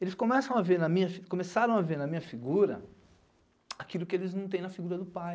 Eles começam a ver na minha, começaram a ver na minha figura aquilo que eles não têm na figura do pai.